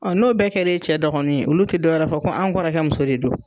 Ɔn n'o bɛɛ kɛra e cɛ dɔgɔnin ye, olu te dɔwɛrɛ fɔ ko an kɔrɔkɛ muso de don.